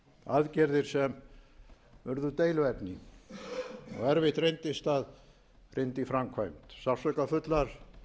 aðgerðir sem urðu deiluefni og erfitt reyndist að hrinda í framkvæmd sársaukafullar